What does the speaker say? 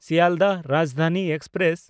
Sealdah Rajdhani express